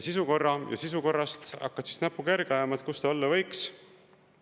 … sisukorra ja sisukorrast hakkad näpuga järge ajama, kus see olla võiks.